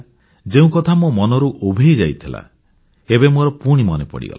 ଏ ଯେଉଁ କଥା ମୋ ମନରୁ ଉଭେଇ ଯାଇଥିଲା ଏବେ ମୋର ପୁଣି ମନେ ପଡ଼ିଗଲା